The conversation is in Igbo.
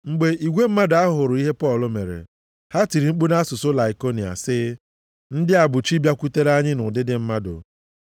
Mgbe igwe mmadụ ahụ hụrụ ihe Pọl mere, ha tiri mkpu nʼasụsụ Laikonia sị, “Ndị a bụ chi bịakwutere anyị nʼụdịdị mmadụ.”